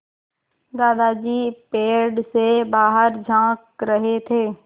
दादाजी पेड़ से बाहर झाँक रहे थे